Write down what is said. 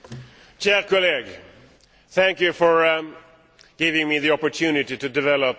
Thank you for giving me the opportunity to develop my message.